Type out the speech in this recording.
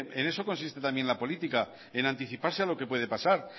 en eso consiste también la política en anticiparse a lo que puede pasar